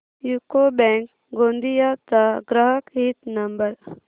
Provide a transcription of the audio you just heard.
UCO bank Gondia चा ग्राहक हित नंबर